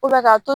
k'a to